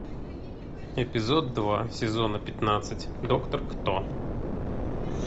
эпизод два сезона пятнадцать доктор кто